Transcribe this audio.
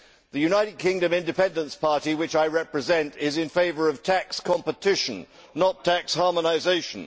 The United Kingdom Independence Party, which I represent, is in favour of tax competition, not tax harmonisation.